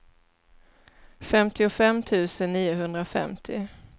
femtiofem tusen niohundrafemtio